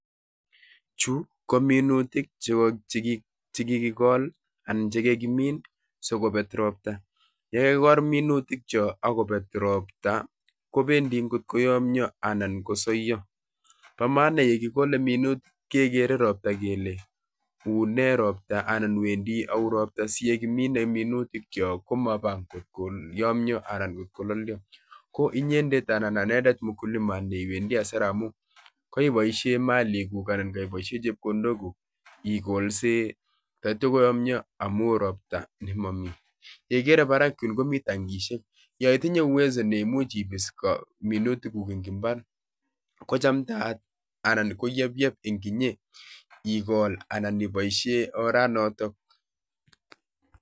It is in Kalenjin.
Chuu ko minutik chekikikol anan chekikimin sikobet ropta. Yeikol minutik chu akobet ropta kobendi kotkoyomyo anan kosoyo. Bo maana yekikole minutik kekere ropta kele ule ropta anan wendi ropta siyekikole minutik kyok komabaa kotkoyomyoo anan kololyo. Ko inyendet anan anendet mkulima neiwendi hasara amun kaiboisien malikuk anan keiboisien chepkondok kuk ikolsei taityo koyomyo amu ropta nemomi. Yeikere barak yun komi tangisiek; yoitinye uwezo neimuch ibis minutikuk en imbaar kochamdayat anan koyeyep en inye igol anan iboisien ora notok.